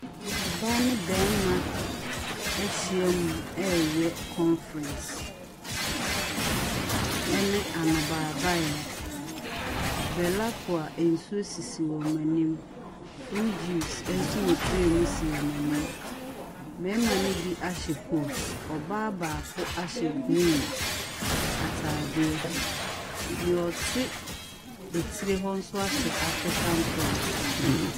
Ɔbaa ne barima ahyia mu ɛreyɛ conference ne anobaebaeɛ, BelAqua nsuo sisi wɔn anim, fruit juice nso wɔ tray mu si wɔn anim. Mmarima ne bi ahyɛ kooti, ɔbaa baako and ahyɛ green ataadeɛ. Deɛ ɔte tiri hɔ nso ahyɛ African print.